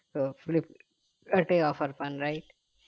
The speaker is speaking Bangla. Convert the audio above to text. তো ফিলিপ ওটাই offer পান right